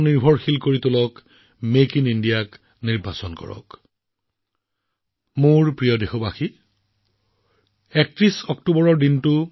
ভাৰতক স্বাৱলম্বী কৰক মেক ইন ইণ্ডিয়া বাছি লওক যাতে আপোনালোকৰ লগতে কোটি কোটি দেশবাসীৰ দীপাৱলী বিস্ময়কৰ প্ৰাণৱন্ত উজ্জ্বল আৰু আকৰ্ষণীয় হৈ পৰে